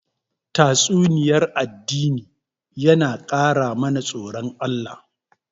Tatsuniyar addini na ƙara mana tsoron Allah